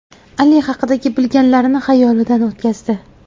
Ali haqidagi bilgilanlarini xayolidan o‘tkazdi.